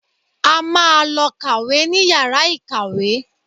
A máa lọ kàwé níyàrà ìkàwé